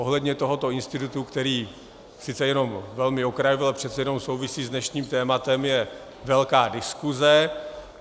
Ohledně tohoto institutu, který sice jenom velmi okrajově, ale přece jenom souvisí s dnešním tématem, je velká diskuse.